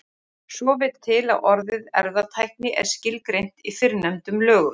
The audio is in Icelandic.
Svo vill til að orðið erfðatækni er skilgreint í fyrrnefndum lögum.